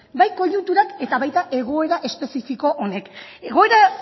bai koiunturak eta baita egoera espezifiko honek egoera